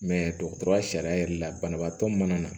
dɔgɔtɔrɔya sariya yɛrɛ la banabaatɔ min mana na